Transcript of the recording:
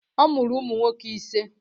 Ọ mụrụ ụmụ nwoke ise.